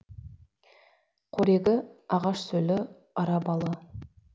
қорегі ағаш сөлі ара балы